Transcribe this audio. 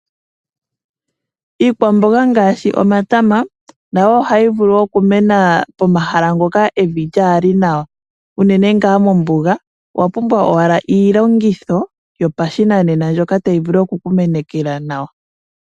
Iikwamboga ngaashi omatama nayo ohayi vulu okumena pomahala ngoka evi lyaali nawa , unene ngaa mombuga owapumbwa owala iilongitho yopashinanena mbyoka tayi vulu okukumenekela nawa.